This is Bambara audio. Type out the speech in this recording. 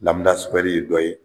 ye dɔ ye